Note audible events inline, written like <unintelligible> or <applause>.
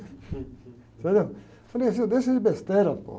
Entendeu? Falei, <unintelligible> deixa de besteira. <unintelligible>